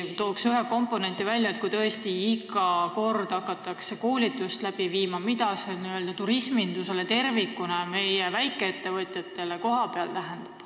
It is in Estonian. Ma toon isegi ühe komponendi välja: kui tõesti iga kord hakatakse seda koolitust läbi viima, siis mida see tähendab turismindusele tervikuna ja meie väikeettevõtjatele kohapeal?